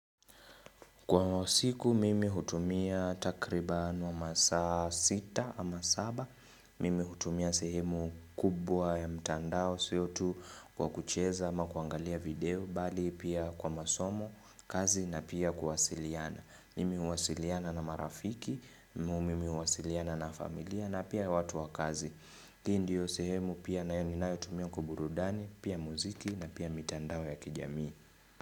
Kwa siku mimi hutumia takriban wa masaa sita ama saba, mimi hutumia sehemu kubwa ya mtandao sio tu kwa kucheza ama kuangalia video, bali pia kwa masomo, kazi na pia kuwasiliana. Mimi huwasiliana na marafiki, mimi huwasiliana na familia na pia watu wa kazi. Hii ndio sehemu pia nayo ninayo tumia kwa burudani, pia muziki na pia mitandao ya kijamii.